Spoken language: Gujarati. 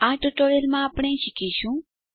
આ ટ્યુટોરીયલમાં આપણે શીખીશું